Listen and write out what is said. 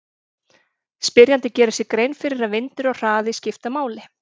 Spyrjandi gerir sér grein fyrir að vindur og hraði skipta máli.